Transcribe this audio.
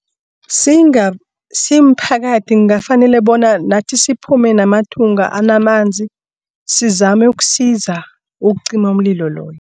Simphakathi kungafanele bona nathi siphume namathunga anamanzi sizame ukusiza ukucima umlilo loyo.